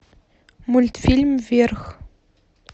мультфильм вверх